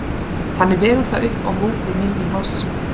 Þannig vegur það upp á móti minni massa.